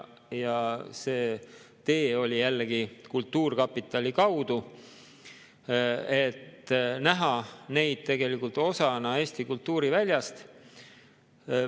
See tee oli jällegi kultuurkapitali kaudu, et näha neid tegelikult osana Eesti kultuuriväljast.